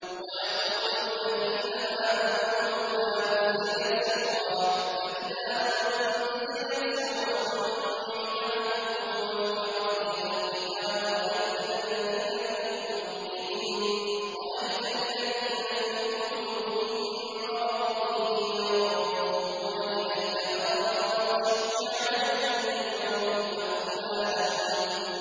وَيَقُولُ الَّذِينَ آمَنُوا لَوْلَا نُزِّلَتْ سُورَةٌ ۖ فَإِذَا أُنزِلَتْ سُورَةٌ مُّحْكَمَةٌ وَذُكِرَ فِيهَا الْقِتَالُ ۙ رَأَيْتَ الَّذِينَ فِي قُلُوبِهِم مَّرَضٌ يَنظُرُونَ إِلَيْكَ نَظَرَ الْمَغْشِيِّ عَلَيْهِ مِنَ الْمَوْتِ ۖ فَأَوْلَىٰ لَهُمْ